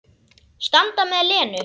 Standa með Lenu.